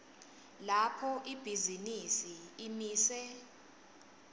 lapho ibhizinisi imise